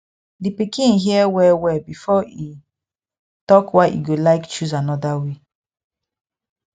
di pikin hear wellwell before e talk why e go like choose another way